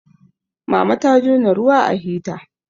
mama ta jona ruwa a hita